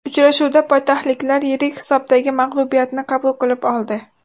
Uchrashuvda poytaxtliklar yirik hisobdagi mag‘lubiyatni qabul qilib oldi.